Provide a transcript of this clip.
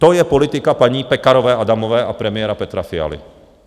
To je politika paní Pekarové Adamové a premiéra Petra Fialy.